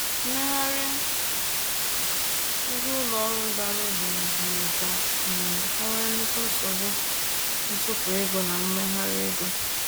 Mmegharị ego ụlọ ọrụ dara ogbenye mere ka um e nwee nnukwu nsogbu ntụpọ ego na mmegharị ego.